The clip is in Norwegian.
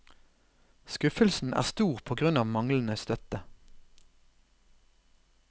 Skuffelsen er stor på grunn av manglende støtte.